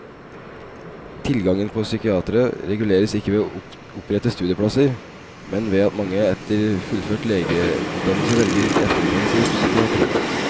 Tilgangen på psykiatere reguleres ikke ved å opprette studieplasser, men ved at mange etter fullført legeutdannelse velger etterutdannelse i psykiatri.